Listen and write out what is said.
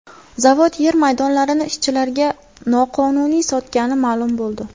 Zavod yer maydonlarini ishchilariga noqonuniy sotgani ma’lum bo‘ldi.